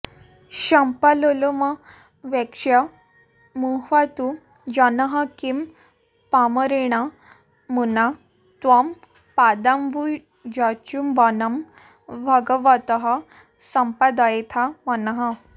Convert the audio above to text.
शम्पालोलमवेक्ष्य मुह्यतु जनः किं पामरेणामुना त्वं पादाम्बुजचुम्बनं भगवतः सम्पादयेथा मनः